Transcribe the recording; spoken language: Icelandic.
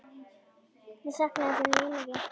Ég sakna þín mjög mikið.